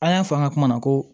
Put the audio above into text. An y'a fɔ an ka kuma na ko